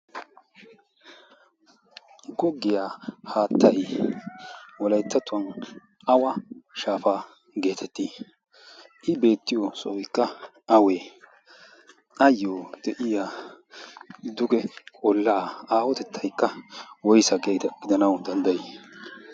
goggiyaa haattai walayttatuwan awa shaafaa' geetettii i beettiyo sooikka awee ayyo de'iya duge qollaa aawotettaykka woysa gidanawu danddayii?